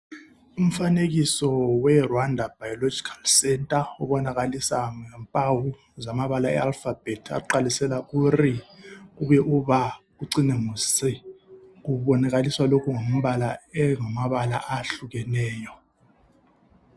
Umfanekiso weRwanda biomedical center ubonakalisa ngempawu zamabala ealphabet aqalisela kuri kubuye uba kucine ngoc kubonakaliswa lokhu kungamabala ayehlukeneyo.